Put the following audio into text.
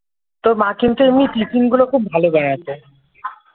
তোর মা কিন্তু এমনি টিফিন গুলো খুব ভালো বানাতো ।